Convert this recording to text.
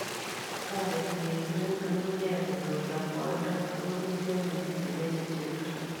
Tareti keturek ng'ung'unyek konyor yakwaindo ako pityo minutik eng' chepchepindo